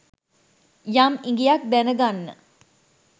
යම් ඉඟියක් දැන ගන්න